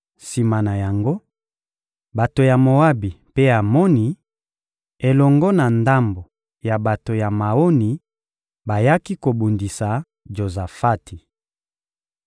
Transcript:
Sima na yango, bato ya Moabi mpe ya Amoni elongo na ndambo ya bato ya Maoni bayaki kobundisa Jozafati.